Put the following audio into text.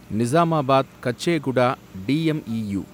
Nizamabad Kacheguda DEMU